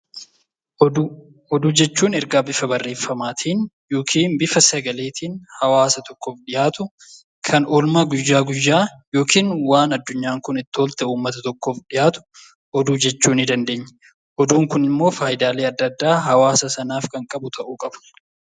Oduu. Oduu jechuun ergaa bifa barreeffamaatiin yokiin bifa sagaleetiin hawaasa tokkoof dhiyaatu kan oolmaa guyyaa guyyaa yokin waan addunyaan kun itti oolte uummata tokkoof dhiyaatu oduu jechuu ni dandeenya. Oduun kunimmoo faayidaalee adda addaa hawaasa sanaaf kan qabu ta'uu qaba.